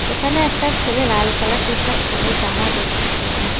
এখানে একটা ছেলে লাল কালার টিশার্ট পড়ে জামা দেখতেছে।